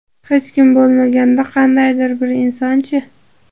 Hech bo‘lmaganda qandaydir bir inson-chi?